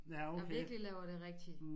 Der virkelig laver det rigtig